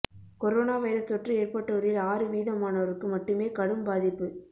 corona virus தொற்று ஏற்பட்டோரில் ஆறு வீதமானோருக்கு மட்டுமே கடும் பாதிப்பு